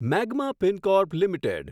magma Fincorp limited